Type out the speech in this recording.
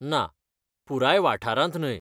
ना, पुराय वाठारांत न्हय.